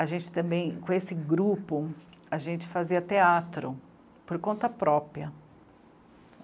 A gente também, com esse grupo, a gente fazia teatro, por conta própria.